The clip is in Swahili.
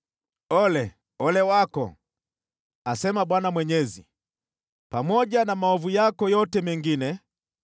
“ ‘Ole! Ole wako! Asema Bwana Mwenyezi. Pamoja na maovu yako yote mengine,